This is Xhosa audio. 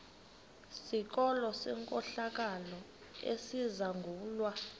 sikolo senkohlakalo esizangulwa